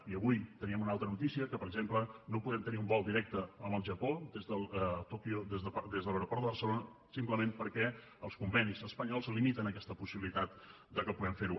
i avui teníem una altra notícia que per exemple no podem tenir un vol directe amb el japó a tòquio des de l’aeroport de barcelona simplement perquè els convenis espanyols limiten aquesta possibilitat de que puguem fer ho